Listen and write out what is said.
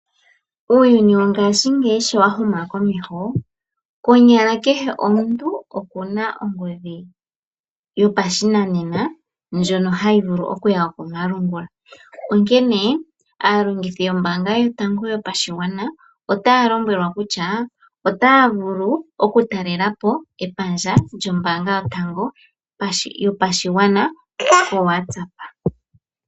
Uuyuni wongashingeyi sho wahuma komeho, konyala kehe omuntu okuna ongodhi yopashinanena, ndjono hayi vulu okuya komalungula. Onkene aalongithi yotango yopashigwana, otaa lombwelwa kutya, otaa vulu okutalelapo epandja lyombaanga yotango yopashigwana, koWatsapp.